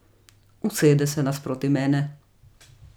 Usede se nasproti mene.